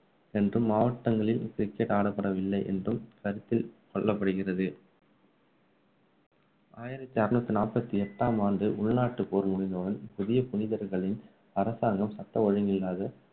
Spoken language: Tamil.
என்றும் மாவட்டங்களில் cricket ஆடப்படவில்லை என்றும் கருத்து சொல்லப்படுகிறது. ஆயிரத்து ஆருநூத்திநாப்பத்தி எட்டாம் ஆண்டு உள்நாட்டு போர் முடிந்தவுடன் புதிய புனிதர்களின் அரசாங்கம் சட்ட ஒழுங்கில்லாத